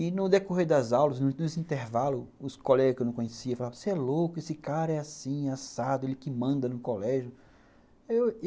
E no decorrer das aulas, nos intervalos, os colegas que eu não conhecia falavam, você é louco, esse cara é assim, assado, ele que manda no colégio.